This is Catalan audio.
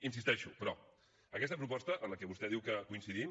hi insisteixo però aquesta proposta en què vostè diu que coincidim